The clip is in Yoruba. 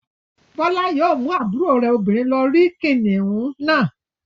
Bọ́lá yóò mú àbúrò rẹ̀ obìnrin lọ rí kìnnìún náà.